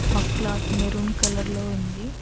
ఆ cloth maroon colour లో ఉంది.